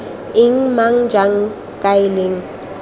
eng mang jang kae leng